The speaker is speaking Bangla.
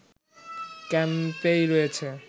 ক্যাম্পে রয়েছে